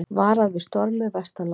Varað við stormi vestanlands